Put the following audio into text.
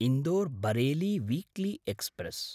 Indore-Bareilly weekly express